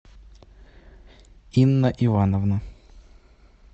инна ивановна